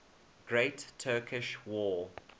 great turkish war